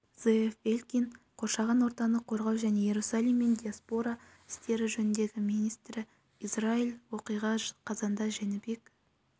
зеэв элькин қоршаған ортаны қорғау және иерусалим мен диаспора істері жөніндегі министрі израиль оқиға қазанда жәнібек